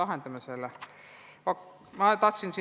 Kuidas me selle nüüd lahendame?